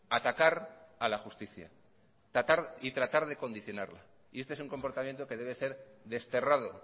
atacar a la justicia atacar y tratar de condicionarla y este es un comportamiento que debe ser desterrado